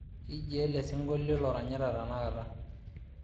kijiaa ele sinkolio loranyita tenakata